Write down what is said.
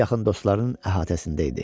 Ən yaxın dostların əhatəsində idi.